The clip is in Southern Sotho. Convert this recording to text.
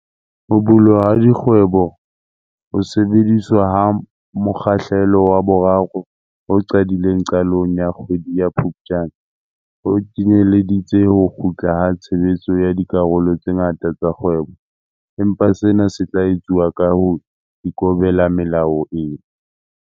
Ho bulwa ha dikgweboHo sebediswa ha mokgahlelo wa 3 ho qadileng qalong ya kgwedi ya Phuptjane, ho kenyeleditse ho kgutla ha tshebetso ya dikarolo tse ngata tsa kgwebo, empa sena se tla etsuwa ka ho ikobela melao e.